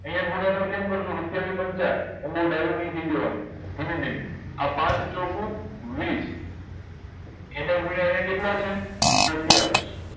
આયા મોટા ભાઈ કેમ કરશું સત્યાવી પંચા ધીમે ધીમે આ પાંચ ચોકુ વીસ એને ગુણીયા આયા કેટલા છે સત્યાવીસ